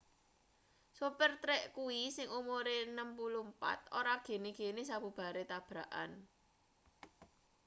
sopir trek kuwi sing umure 64 ora gene-gene sabubare tabrakan